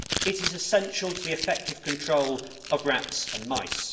It is essential to the effective control of rats and mice.